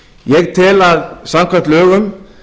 ég tel að samkvæmt lögum